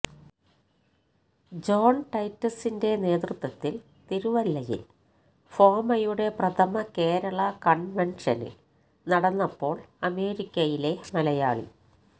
John ടൈറ്റസിന്റെ നേതൃത്വത്തില് തിരുവല്ലയില് ഫോമയുടെ പ്രഥമ കേരള കണ്വന്ഷന് നടന്നപ്പോള് അമേരിക്കയിലെ മലയാളി